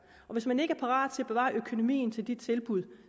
og hvis man ikke er parat til at bevare økonomien til de tilbud